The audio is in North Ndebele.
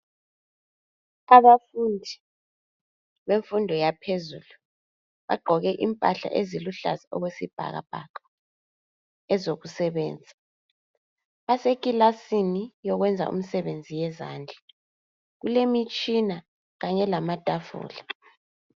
Abafundi bemfundo yaphezulu bagqoke impahla eziluhlaza okwesibhakabhaka, ezokusebenza. Basekilasini yokwenza imisebenzi yezandla. Kulemitshina kanye lamatafula.